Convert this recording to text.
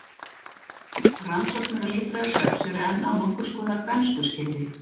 Rannsóknir á líffræði svefns eru enn á nokkurs konar bernskuskeiði.